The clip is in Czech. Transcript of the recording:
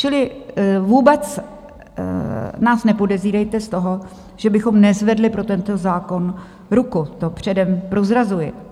Čili vůbec nás nepodezírejte z toho, že bychom nezvedli pro tento zákon ruku, to předem prozrazuji.